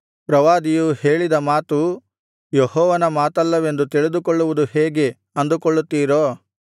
ಪ್ರವಾದಿಯು ಹೇಳಿದ ಮಾತು ಯೆಹೋವನ ಮಾತಲ್ಲವೆಂದು ತಿಳಿದುಕೊಳ್ಳುವುದು ಹೇಗೆ ಅಂದುಕೊಳ್ಳುತ್ತೀರೋ